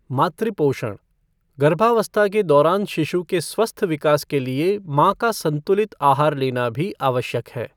मातृ पोषण गर्भावस्था के दौरान शिशु के स्वस्थ विकास के लिए माँ का संतुलित आहार लेना भी आवश्यक है।